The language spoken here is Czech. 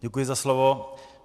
Děkuji za slovo.